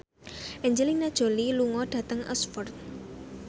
Angelina Jolie lunga dhateng Oxford